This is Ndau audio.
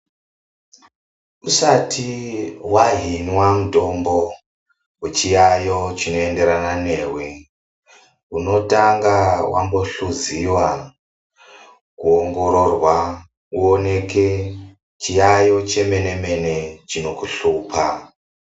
Usati wahinwa mutombo wechiyayo chinoenderana newe unotanga wambohluziwa kuongororwa uoneke chiyayo chemene mene chinokuhlupa.